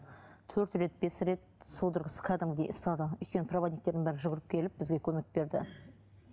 төрт рет бес рет судорогасы кәдімгідей ұстады өйткені проводниктердің бәрі жүгіріп келіп бізге көмек берді